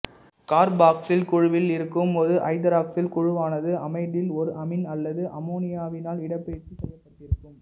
carboxyl குழுவில் இருக்கும் ஒரு ஐதராக்சில் குழுவானது அமைடில் ஓர் அமீன் அல்லது அமோனியாவினால் இடப்பெயர்ச்சி செய்யப்பட்டிருக்கும்